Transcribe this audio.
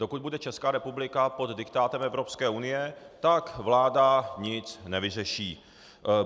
Dokud bude Česká republika pod diktátem Evropské unie, tak vláda nic nevyřeší.